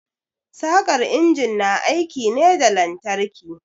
Saƙar injin na aiki ne da lantarki.